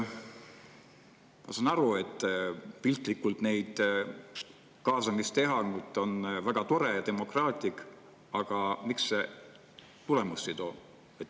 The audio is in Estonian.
Ma saan aru, et piltlikult kaasamist teha on väga tore ja demokraatlik, aga miks see tulemust ei too?